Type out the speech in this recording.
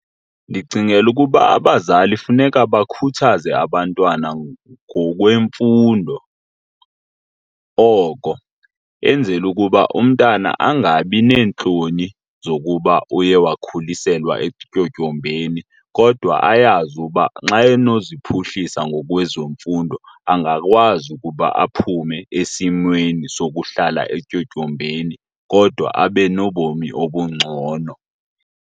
Ndicingela ukuba abazali funeka bakhuthaze abantwana ngokwemfundo oko, enzela ukuba umntana angabi neentloni zokuba uye wakhuliselwa etyotyombeni kodwa ayazi uba xa enoziphuhlisa ngokwezemfundo angakwazi ukuba aphume esimweni sokuhlala etyotyombeni kodwa abe nobomi obungcono.